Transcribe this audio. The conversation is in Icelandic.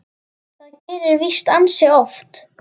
Það gerist víst ansi oft.